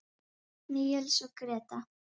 Níels og Gréta.